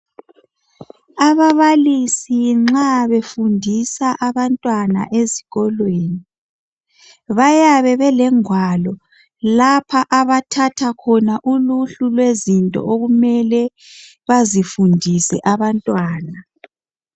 Ababalisi nxa befundisa abantwana ezikolweni bayabe belengwalo lapha abathatha khona uluhlu lwezinto okumele bazifundise abantwana.